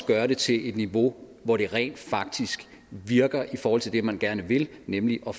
gøre det til et niveau hvor det rent faktisk virker i forhold til det man gerne vil nemlig at